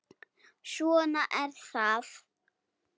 Svona er það.